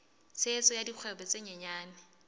tshehetso ya dikgwebo tse nyenyane